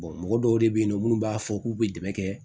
mɔgɔ dɔw de be yen nɔ munnu b'a fɔ k'u be dɛmɛ kɛ